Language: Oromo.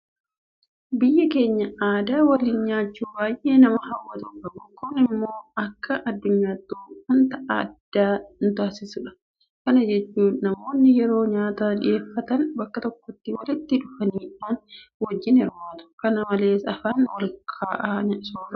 Biyyi keenya aadaa waliin nyaachuu baay'ee nama hawwatu qabu. Kun immoo akka addunyaattuu waanta adda nutaasisudha. Kana jechuun namoonni yeroo nyaata dhiyeeffatan bakka tokkotti walitti dhufuudhaan wajjin hirmaatu. Kana malees afaan walkaa'aa soorratu.